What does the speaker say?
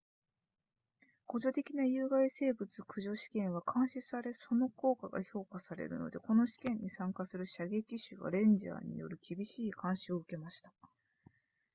補助的な有害生物駆除試験は監視されその効果が評価されるのでこの試験に参加する射撃手はレンジャーによる厳しい監視を受けました